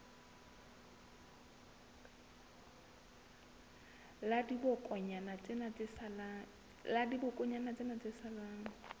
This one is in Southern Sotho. la dibokonyana tsena tse salang